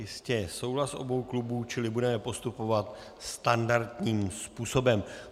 Jistě je souhlas obou klubů, čili budeme postupovat standardním způsobem.